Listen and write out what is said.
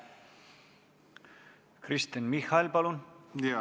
Kristen Michal, palun!